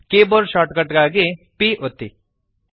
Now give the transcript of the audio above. keyboard shortcut ಗಾಗಿ P ಒತ್ತಿರಿ